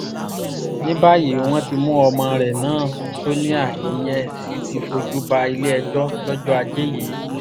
ní báyìí wọ́n ti mú ọmọ rẹ̀ náà sonia ìyẹn sì ti fojú ba ilé-ẹjọ́ lọ́jọ́ ajé yìí